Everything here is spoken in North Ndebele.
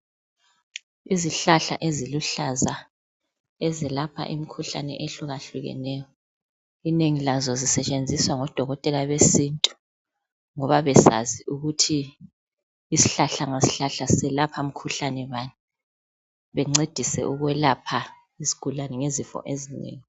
Izihlahla eziluhlaza ezelapha imikhuhlane ehlukahlukeneyo inengi lazo zisetshenziswa ngodokotela besintu ngoba besazi ukuthi isihlahla ngasihlahla selapha mkhuhlane bane, bencedise ukwelapha isigulani ngezifo ezinengi.